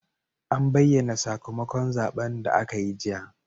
An bayyana sakamakon zaben da aka yi jiya.